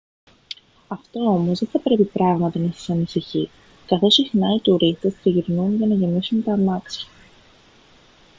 αυτό όμως δεν θα πρέπει πράγματι να σας ανησυχεί καθώς συχνά οι τουρίστες τριγυρνούν για να γεμίσουν τα αμάξια